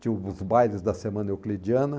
Tinha os bailes da semana euclidiana.